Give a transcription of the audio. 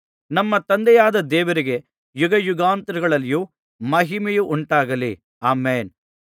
ನಮ್ಮ ತಂದೆಯಾದ ದೇವರಿಗೆ ಯುಗಯುಗಾಂತರಗಳಲ್ಲಿಯೂ ಮಹಿಮೆಯುಂಟಾಗಲಿ ಆಮೆನ್‍